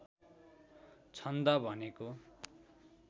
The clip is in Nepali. छन्द भनेको